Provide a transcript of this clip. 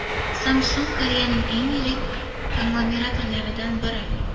Samsung Koreyaning eng yirik konglomeratlaridan biri.